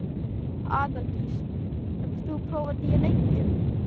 Aðaldís, hefur þú prófað nýja leikinn?